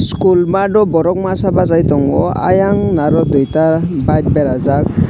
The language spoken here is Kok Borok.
school math o borok masa bachai tongo ayang naro duita bike berajak.